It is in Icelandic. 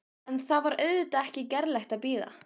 En það var auðvitað ekki gerlegt að bíða.